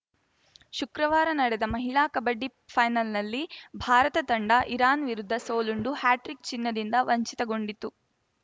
ಶುಕ್ರವಾರ ನಡೆದ ಮಹಿಳಾ ಕಬಡ್ಡಿ ಫೈನಲ್‌ನಲ್ಲಿ ಭಾರತ ತಂಡ ಇರಾನ್‌ ವಿರುದ್ಧ ಸೋಲುಂಡು ಹ್ಯಾಟ್ರಿಕ್‌ ಚಿನ್ನದಿಂದ ವಂಚಿತಗೊಂಡಿತು